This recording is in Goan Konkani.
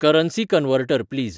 currency converter please